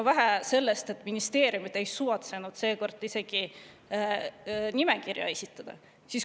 Vähe sellest, et ministeeriumid ei suvatsenud seekord isegi nimekirja esitada.